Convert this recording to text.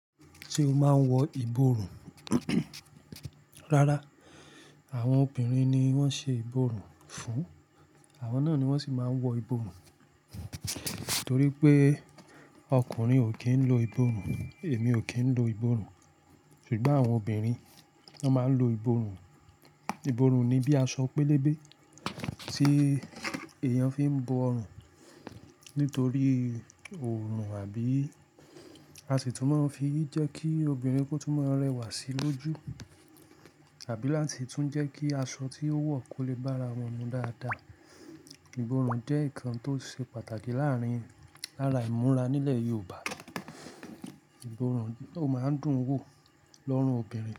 Tí o máa ń wọ ìborùn. Rárá, àwọn obìnrin ni wọ́n ṣe ìborùn fún, àwọn náà ni wọ́n sì máa ń wọ ìborùn. Nítorí pé ọkùnrin ò kí ń lo ìborùn, èmi ò kí ń lo ìborùn. Ṣùgbọ́n àwọn obìnrin, wọ́n máa ń lo ìborùn. Ìborùn ni bí aṣọ pẹ́lẹbẹ́ tí èèyàn fi ń bo ọrùn nítorí òòrùn àbí a sì tún máa ń fi jẹ́ kí obìnrin kó tún máa rẹwà sí lójú àbí láti tún jẹ́ kí aṣọ tí ó wọ̀ kó lè bára wọn mu dáadáa. Ìborùn jẹ́ ǹkan tó ṣe pàtàkì láàrin-- lára ìmúra nílẹ̀ Yorùbá. Ìborùn, ó máa ń dùn ún wò lọ́rùn obìnrin.